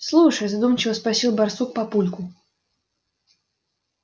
слушай задумчиво спросил барсук папульку